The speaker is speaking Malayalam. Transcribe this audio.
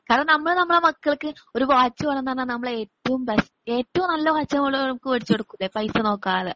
കാരണം നമ്മള് നമ്മുടെ മക്കൾക്ക് ഒരു വാച്ച് വേണന്നു പറഞ്ഞാൽ ഏറ്റവും ബേസ് ഏറ്റവും നല്ല വാച്ച് നമ്മള് ഓര്ക്കു വാങ്ങിച്ചു കൊടുകൂലെ പൈസ നോക്കാതെ.